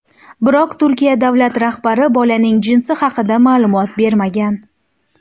Biroq Turkiya davlat rahbari bolaning jinsi haqida ma’lumot bermagan.